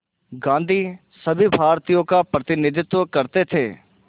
गांधी सभी भारतीयों का प्रतिनिधित्व करते थे